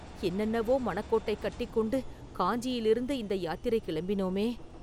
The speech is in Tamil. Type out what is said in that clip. என்னென்னவோ மனக் கோட்டை கட்டிக் கொண்டு காஞ்சியிலிருந்து இந்த யாத்திரை கிளம்பினோமே?